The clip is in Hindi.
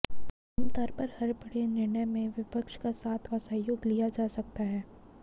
आमतौर पर हर बड़े निर्णय में विपक्ष का साथ और सहयोग लिया जा सकता है